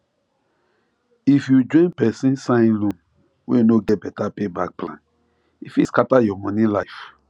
if you join persin sign loan wey no get better payback plan e fit scatter your money life